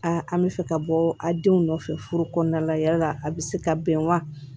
an bɛ fɛ ka bɔ a denw nɔfɛ furu kɔnɔna la yala a bɛ se ka bɛn wa